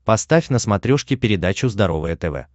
поставь на смотрешке передачу здоровое тв